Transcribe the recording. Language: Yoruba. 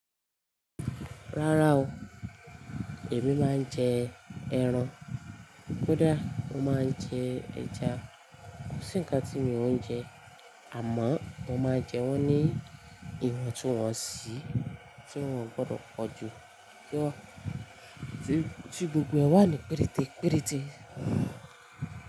Rárá o, èmi máa ń jẹ ẹran. Kódà mo máa ń jẹ ẹja. Kò sí ǹkan tí mi ò ń jẹ, àmọ́ mo máa ń jẹ wọ́n ní ìwọ̀ntuniwọ́nsi tí wọ́n ò gbọdọ̀ pọ̀ jù, tí gbogbo ẹ wà ní péréte péréte.